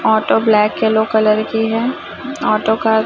auto black yellow colour की है auto का--